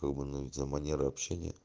как бы ну за манеры общения